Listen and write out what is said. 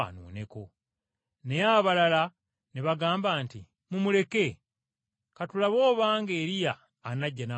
Naye abalala ne bagamba nti, “Mumuleke. Ka tulabe obanga Eriya anajja n’amulokola.”